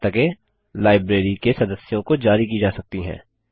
और पुस्तकें लाइब्रेरी के सदस्यों को जारी की जा सकती हैं